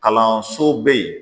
Kalanso bɛ yen